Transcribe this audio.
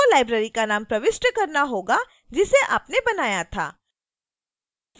आपको library नाम प्रविष्ट करना होगा जिसे आपने बनाया था